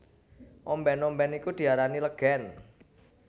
Ombèn ombèn iku diarani legèn